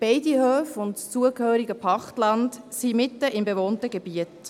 Beide Höfe und das dazugehörende Pachtland befinden sich mitten im bewohnten Gebiet.